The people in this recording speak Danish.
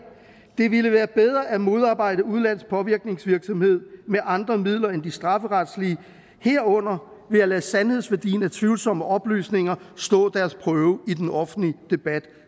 det ville være bedre at modarbejde udenlandsk påvirkningsvirksomhed med andre midler end de strafferetlige herunder ved at lade sandhedsværdien af tvivlsomme oplysninger stå deres prøve i den offentlige debat